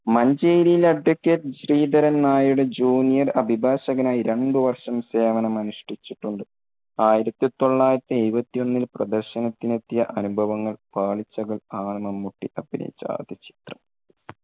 മഞ്ചേരിയിൽ അഡ്വക്കേറ്റ് ശ്രീധരൻ നായരുടെ junior അഭിഭാഷകൻ ആയി രണ്ടു വർഷം സേവനം അനുഷ്ടിച്ചിട്ടുണ്ട്. ആയിരത്തി തൊള്ളായിരത്തി എഴുപത്തൊന്നിൽ പ്രദർശനത്തിനെത്തിയ അനുഭവങ്ങൾ പാളിച്ചകൾ ആണ് മമ്മൂട്ടി അഭിനയിച്ച ആദ്യ ചിത്രം.